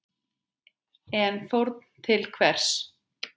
En fórn til hvers?